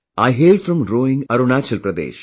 I hail from Roing, Arunachal Pradesh